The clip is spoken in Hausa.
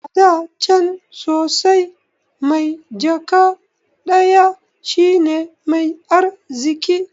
Ada can sosai, mai jaka ɗaya shine mai arziki